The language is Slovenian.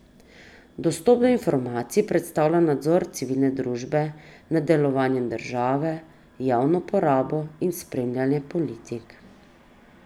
Dostop do informacij predstavlja nadzor civilne družbe nad delovanjem države, javno porabo in spremljanjem politik.